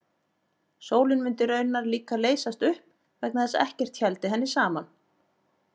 Sólin mundi raunar líka leysast upp vegna þess að ekkert héldi henni saman.